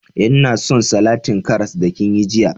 Eh, nna son salatin karras da kin yi jiya.